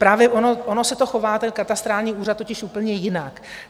Právě ono se to chová, ten Katastrální úřad, totiž úplně jinak.